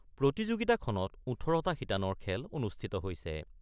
প্ৰতিযোগিতাত ১৮টা শিতানৰ খেল অনুষ্ঠিত হৈছে।